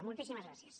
moltíssimes gràcies